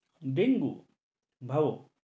dengue, ভাও